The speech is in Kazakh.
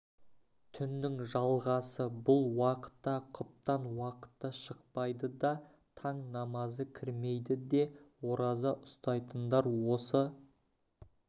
түннің жалғасы бұл уақытта құптан уақыты шықпайды да таң намазы кірмейді де ораза ұстайтындар осы